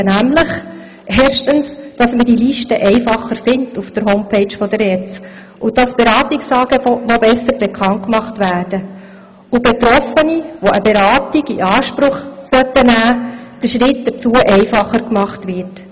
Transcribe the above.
Wir möchten nämlich, dass man diese Liste auf der Homepage der ERZ einfacher findet, dass die Beratungsangebote noch besser bekannt gemacht werden und dass Betroffenen, die eine Beratung in Anspruch nehmen sollten, dieser Schritt einfacher gemacht wird.